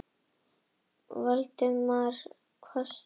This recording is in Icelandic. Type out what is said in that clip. sagði Valdimar hvasst.